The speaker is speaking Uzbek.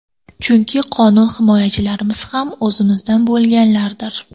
Chunki qonun himoyachilarimiz ham o‘zimizdan bo‘lganlardir.